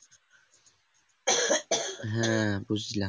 হ্যাঁ বুঝলাম